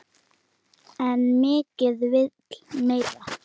En mikið vill meira.